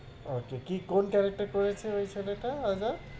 Okay কি কোন character করেছহে ওই ছেলেটা আগে?